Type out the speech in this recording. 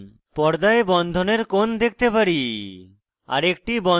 পর্দায় বন্ধনের কোণ দেখতে পারি